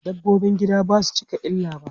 Dabbobin gida basu cika illa ba.